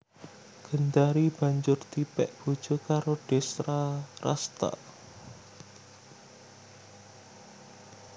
Gendari banjur dipèk bojo karo Destrarasta